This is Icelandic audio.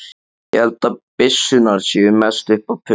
Ég held að byssurnar séu mest upp á punt.